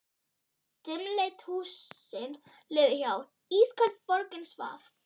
Dimmleit húsin liðu hjá, ísköld borgin svaf.